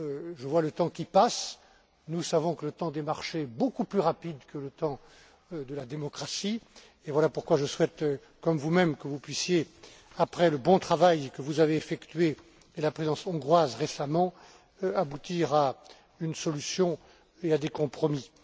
Je vois le temps qui passe, nous savons que le temps des marchés est beaucoup plus rapide que le temps de la démocratie, et c'est pourquoi je souhaite, comme vous même, que vous puissiez, après le bon travail que vous avez effectué, avec la présidence hongroise récemment, aboutir à une solution et à des compromis.